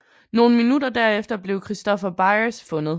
Nogle minutter derefter blev Christopher Byers fundet